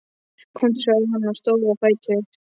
Komdu, sagði hann og stóð á fætur.